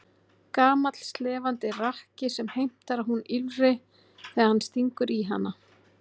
Gamall slefandi rakki sem heimtar að hún ýlfri þegar hann stingur í hana.